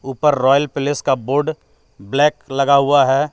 ऊपर royal palace का board black लगा हुआ है.